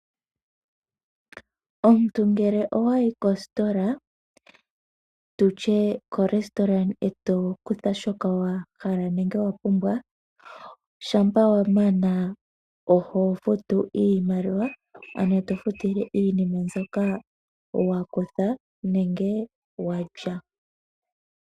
Omuntu ngele wayo kostola nenge korestaurant eto kutha shoka wapumbwa shampa wanama oho futu iimaliwa tofutle iinima mbyoka wakutha nenge walya.